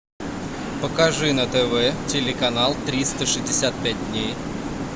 покажи на тв телеканал триста шестьдесят пять дней